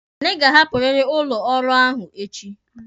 Anyị ga-ahapụriri ụlọ ọrụ ahụ echi!